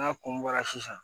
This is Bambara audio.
N'a kun bɔra sisan